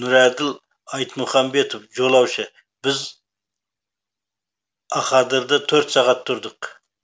нұрәділ айтмұхамбетов жолаушы біз ақадырды төрт сағат тұрдық